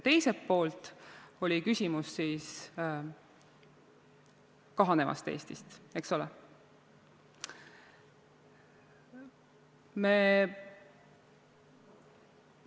Teiselt poolt oli küsimus kahaneva Eesti kohta, eks ole?